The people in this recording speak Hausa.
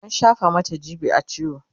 an shafa Mata g.b a ciwo